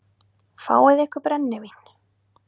Fáið ykkur brennivín!